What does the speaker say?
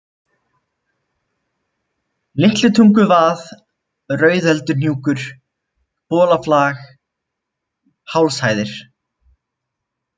Litlutunguvað, Rauðölduhnúkur, Bolaflag, Hálshæðir